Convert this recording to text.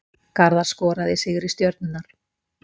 Garðar skoraði í sigri Stjörnunnar